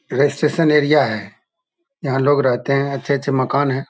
ये registration area है। यहाँ लोग रहते हैं। अच्छे-अच्छे मकान है।